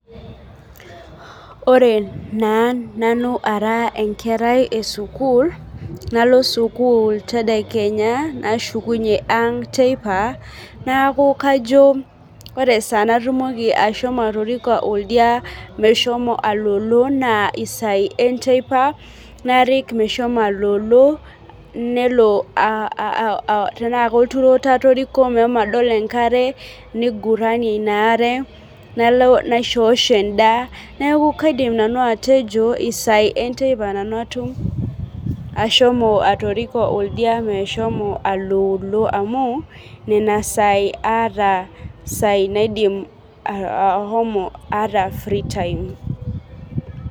ore naa nanu ara enkera esukuul nalo sukuul nalo sukul tedakenya nashukunyie teipa neku kajo ore esaa natumoki ashomo atoriko oldia meshomo alolo naa isai enteipa narik meshomo alolo nelo uh tenaa kolturoto atoriko mehomo adol enkare niguranie ina are nalo naishosho endaa neku kaidim nanu atejo isai enteipa nanu atum ashomo atoriko oldia meshomo alolo amu nena sai aata isai naidim aa ahomo aata free time.